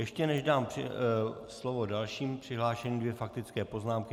Ještě než dám slovo dalšímu přihlášenému, dvě faktické poznámky.